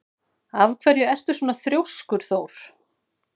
Af hverju ertu svona þrjóskur, Thór?